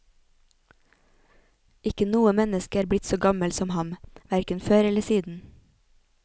Ikke noe menneske er blitt så gammel som ham, hverken før eller siden.